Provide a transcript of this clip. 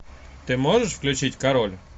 ты можешь включить король